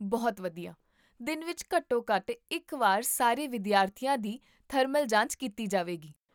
ਬਹੁਤ ਵਧੀਆ! ਦਿਨ ਵਿੱਚ ਘੱਟੋ ਘੱਟ ਇੱਕ ਵਾਰ ਸਾਰੇ ਵਿਦਿਆਰਥੀਆਂ ਦੀ ਥਰਮਲ ਜਾਂਚ ਕੀਤੀ ਜਾਵੇਗੀ